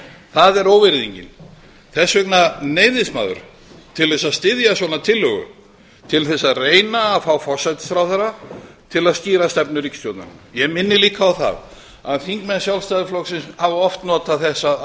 það er óvirðingin þess vegna neyðist maður til þess að styðja svona tillögu til þess að reyna að fá forsætisráðherra til að skýra stefnu ríkisstjórnarinnar ég minni líka á það að þingmenn sjálfstæðisflokksins hafa oft notað þessa